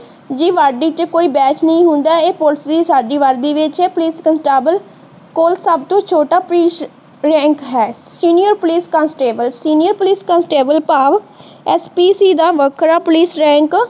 ਜੀਦੀ ਵਰਦੀ ਤੇ ਕੋਈ ਬੈਚ ਨਹੀਂ ਹੁੰਦਾ ਹੈ ਜਿਸਦਾ ਪੁਲਿਸ ਦੀ ਖਾਕੀ ਵਿੱਚ ਹੈ, ਪੁਲਿਸ ਕੋਲ ਸਬਤੋ ਛੋਟਾ ਰੈਂਕ ਹੈ। Senior police constable senior police ਭਾਵ ਐਚ. ਪੀ. ਸੀ. ਦਾ ਵੱਖਰਾ ਪੁਲਿਸ ਰੈਂਕ